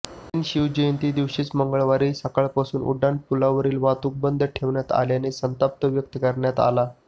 ऐन शिवजयंती दिवशीच मंगळवारी सकाळपासून उड्डाणपुलावरील वाहतूक बंद ठेवण्यात आल्याने संताप व्यक्त करण्यात आला